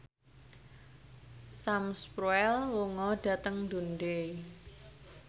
Sam Spruell lunga dhateng Dundee